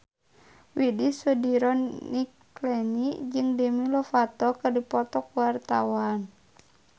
Widy Soediro Nichlany jeung Demi Lovato keur dipoto ku wartawan